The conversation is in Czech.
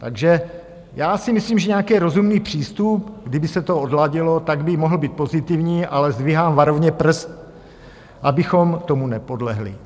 Takže já si myslím, že nějaký rozumný přístup, kdyby se to odladilo, tak by mohl být pozitivní, ale zdvihám varovně prst, abychom tomu nepodlehli.